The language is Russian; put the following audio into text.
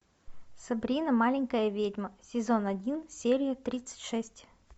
сабрина маленькая ведьма сезон один серия тридцать шесть